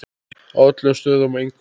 Á öllum stöðum og engum.